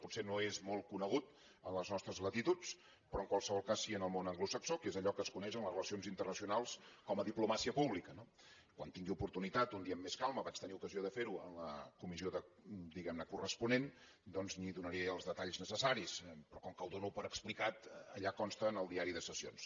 potser no és molt conegut a les nostres latituds però en qualsevol cas sí al món anglosaxó que és allò que es coneix en les relacions internacionals com a diplomàcia pública no quan en tingui oportunitat un dia amb més calma vaig tenir ocasió de fer ho en la comissió corresponent doncs li’n donaré els detalls necessaris però com que ho dono per explicat allà consta en el diari de sessions